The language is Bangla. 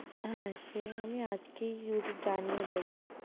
হ্যাঁ সে আমি আজকেই জানিয়ে দেবো।